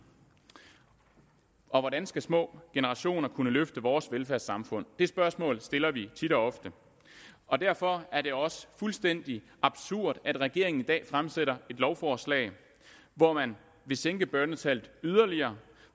og hvordan skal små generationer kunne løfte vores velfærdssamfund det spørgsmål stiller vi tit og ofte og derfor er det også fuldstændig absurd at regeringen i dag fremsætter lovforslag hvor man vil sænke børnetallet yderligere